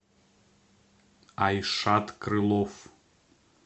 айшат крылов